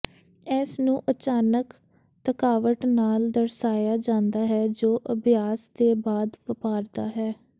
ਇਸ ਨੂੰ ਅਚਾਨਕ ਥਕਾਵਟ ਨਾਲ ਦਰਸਾਇਆ ਜਾਂਦਾ ਹੈ ਜੋ ਅਭਿਆਸ ਦੇ ਬਾਅਦ ਵਾਪਰਦਾ ਹੈ